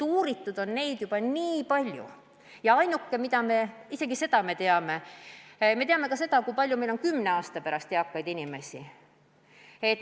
Uuritud on neid probleeme juba nii palju ja üks asi, mida me teame, on see, kui palju meil on kümne aasta pärast eakaid inimesi.